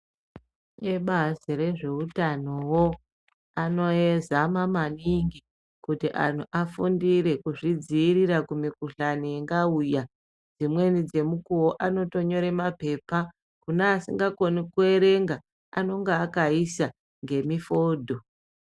Ebazi rezveutanowo anozama maningi kuti anhu afundire kuzvidziirira kumikhuhlani ingauya, dzimweni dzemukuwo anotonyora mapepa kune asingakoni kuerenga anenge akaisa ngemifodho.